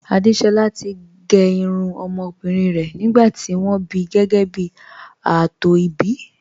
Àdésolá ti gé irun ọmọbìnrin rẹ̀ nígbà tí wọ́n bí gẹ́gẹ́ bí ààtò ìbí